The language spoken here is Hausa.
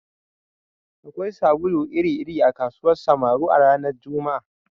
Akwai sabulu iri-iri a kasuwar Samaru a ranar Juma'a